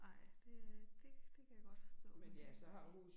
Ej det øh det det kan jeg godt forstå men det øh